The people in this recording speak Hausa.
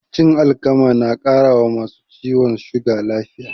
Cin alkama na ƙara wa masu ciwon suga lafiya